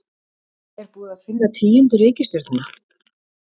Er búið að finna tíundu reikistjörnuna?